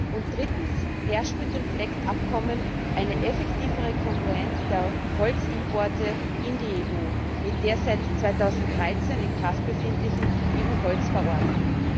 Und drittens herrscht mit dem FLEGT Abkommen eine effektivere Kongruenz der Holzimporte in die EU mit der seit 2013 in Kraft befindlichen EU Holzverordnung.